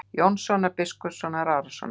Jónssonar, biskups Arasonar.